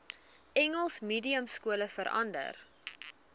engels mediumskole verander